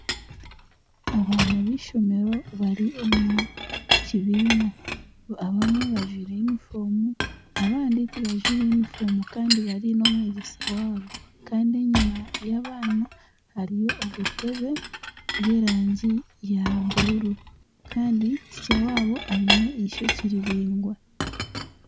Abaana b'ishomero bari omu kibiina abamwe bajwaire yunifoomu abandi tibajwaire yunifoomu kandi bari n'omwegyesa waabo kandi enyima y'abaana hariyo obutebe bw'erangi ya buruuru kandi ticha waabo aine eshookye riraingwa.